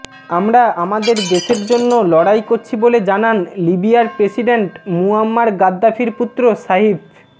আমরা আমাদের দেশের জন্য লড়াই করছি বলে জানান লিবিয়ার প্রেসিডেন্ট মুয়াম্মার গাদ্দাফির পুত্র সাঈফ